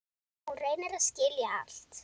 Hún reynir að skilja allt.